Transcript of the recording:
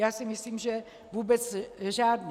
Já si myslím že vůbec žádný.